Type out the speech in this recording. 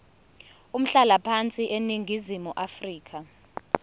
umhlalaphansi eningizimu afrika